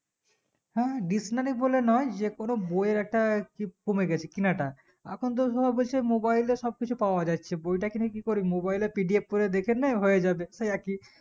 হ্যাঁ dictionary বলার নোই যে কোনো বইয়ের একটা কমেগেছে কেনাটা এখন তো সবাই বলছে mobile এ সব কিছু পাওয়াচে বইটা কিনে কি করি mobile এ PDF করে দেখেন হয়েযাবে সেই একই